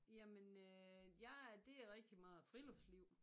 Jamen øh jeg det er rigtig meget friluftsliv